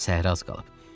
Səhra az qalıb.